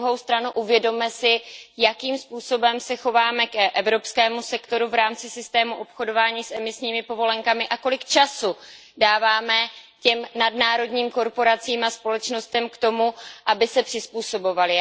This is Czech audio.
Na druhou stranu si uvědomme, jakým způsobem se chováme k evropskému sektoru v rámci systému obchodování s emisními povolenkami a kolik času dáváme těm nadnárodním korporacím a společnostem k tomu, aby se přizpůsobovaly.